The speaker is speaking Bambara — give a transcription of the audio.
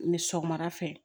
Ni sɔgɔmada fɛ